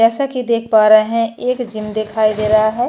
जैसाकि देख पा रहे हैं एक जिम दिखाई दे रहा है।